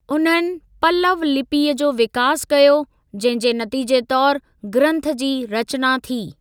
उन्हनि पल्लव लिपिअ जो विकास कयो, जहिं जे नतीजे तौर ग्रंथ जी रचना थी।